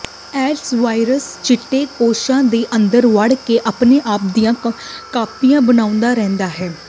AIDS virus ਚਿੱਟੇ ਕੋਸ਼ਾਂ ਦੇ ਅੰਦਰ ਵੜ ਕੇ ਆਪਣੇ ਆਪ ਦੀਆਂ ਕਾਪੀਆਂ ਬਣਾਉਂਦੀ ਰਹਿੰਦੀ ਹੈ